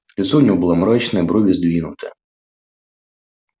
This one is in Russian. лицо у него было мрачное брови сдвинуты